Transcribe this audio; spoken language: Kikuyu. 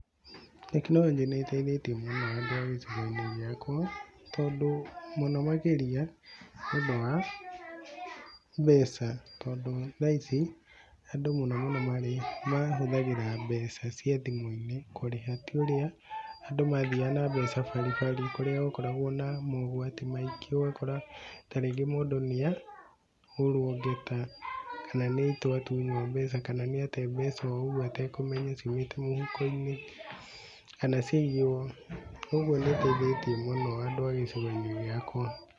Tekinorojĩ nĩ ĩteithĩtie mũno andũ a gĩcigo-inĩ gĩakwa tondũ mũno makĩria nĩ ũndũ wa mbeca, tondũ thaa ici andũ mũno mũno marĩ mahũthagĩra mbeca cia thimũ-inĩ kũrĩha ti ũrĩa andũ mathiaga na mbeca baribari kũrĩa gũkoragwo na mogwati maingĩ ũgakora ta rĩngĩ mũndũ nĩahorwo ngeta kana nĩtwatunywo mbeca kana ate mbeca oũguo atekũmenya ciumĩte mũhuko-inĩ kana ciaiywo, kwoguo nĩ ĩteithĩtie mũno andũ a gĩcigo gĩakwa.